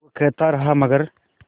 वो कहता रहा मगर